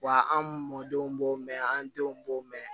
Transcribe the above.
Wa an mɔdenw b'o mɛn an denw b'o mɛn